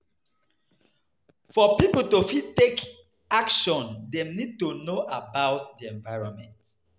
For pipo to fit take action dem need to know about di environment